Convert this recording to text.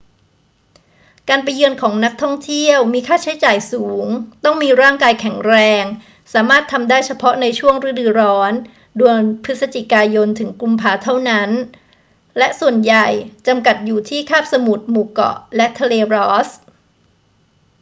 การไปเยือนของนักท่องเที่ยวมีค่าใช้จ่ายสูง ต้องมีร่างกายแข็งแรง สามารถทำได้เฉพาะในช่วงฤดูร้อนเดือนพ ย - ก พ. เท่านั้น และส่วนใหญ่จำกัดอยู่ที่คาบสมุทร หมู่เกาะและทะเลรอสส์